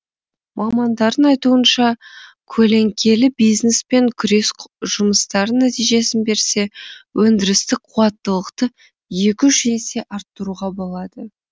мамандардың айтуынша көлеңкелі бизнеспен күрес жұмыстарын нәтижесін берсе өндірістік қуаттылықты екі үш есе арттыруға болады